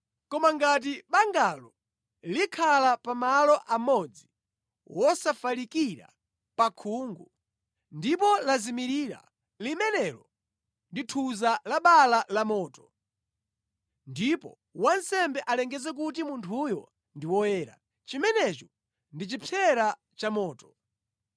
Koma ngati bangalo likhala pa malo amodzi wosafalikira pa khungu, ndipo lazimirira, limenelo ndi thuza la bala lamoto, ndipo wansembe alengeze kuti munthuyo ndi woyera. Chimenecho ndi chipsera chamoto.